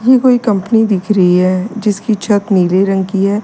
ये कोई कंपनी दिख रही है जिसकी छत नीले रंग की है।